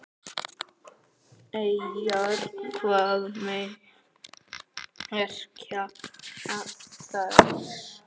Eyjar, hvað merkja þær?